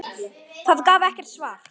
Það gaf ekkert svar.